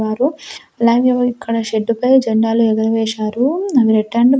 వారు అలాగే ఇక్కడ షెడ్డు పై జెండాలు ఎగురవేశారు అవి రెక్టాంగిల్ .